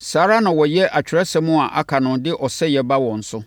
Saa ara na wɔyɛ Atwerɛsɛm a aka no de ɔsɛeɛ ba wɔn so.